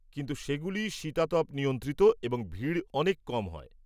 কিন্তু সেগুলি শীতাতপ নিয়ন্ত্রিত এবং ভিড় অনেক কম হয়।